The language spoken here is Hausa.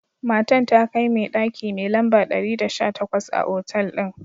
Matan ta kai me daki mai lamba dari da sha takwas a otal din.